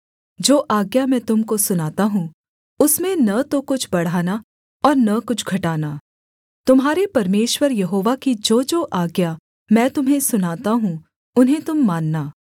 जो आज्ञा मैं तुम को सुनाता हूँ उसमें न तो कुछ बढ़ाना और न कुछ घटाना तुम्हारे परमेश्वर यहोवा की जोजो आज्ञा मैं तुम्हें सुनाता हूँ उन्हें तुम मानना